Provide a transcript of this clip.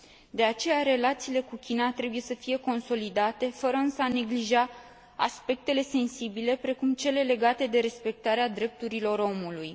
De aceea, relațiile cu China trebuie să fie consolidate, fără a neglija însă aspectele sensibile, precum cele legate de respectarea drepturilor omului.